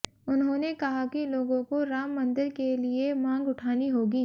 उन्होंने कहा कि लोगों को राम मंदिर के लिए मांग उठानी होगी